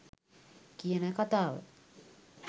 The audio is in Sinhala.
කියන කතාව